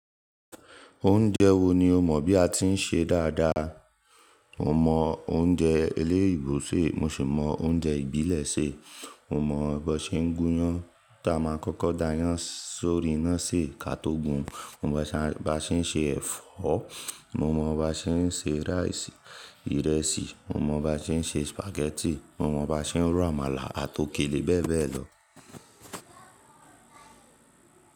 Oúnjẹ wo ni o mọ̀ bí a ti ń ṣe dáadáa? Mo mọ oúnjẹ eléyìíbo ṣe, mo sì mọ oúnjẹ ìbílẹ̀ ṣe. Mo mọ̀ bó ṣé ń gúnyán tá a máa kọ́kọ́ da yán sórí iná sè ká tó gùn. Mo mọ̀ bá ṣe ń ṣe ẹ̀fọ́, mo mọ̀ bá ṣe ń ṣe rice, ìrẹsì, mo mọ̀ bá ṣe ń ṣe spaghetti, mo mọ̀ bá ṣe ń ro àmàlà àti òkèlè bẹ́ẹ̀ bẹ́ẹ̀ lọ.